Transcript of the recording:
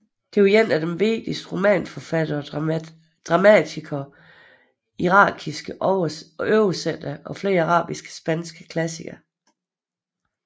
Det er en af de vigtigste romanforfattere og dramatikere irakiske oversætter af flere arabiske spanske klassikere